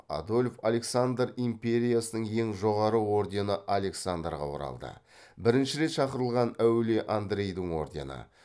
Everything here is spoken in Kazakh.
адольф александр империясының ең жоғары ордені александрға оралды бірінші рет шақырылған әулие андрейдің ордені